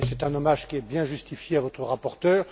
Et c'est un hommage qui est bien justifié à votre rapporteur.